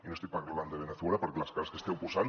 i no estic parlant de veneçuela perquè les cares que esteu posant